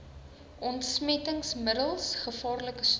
ontsmettingsmiddels gevaarlike stowwe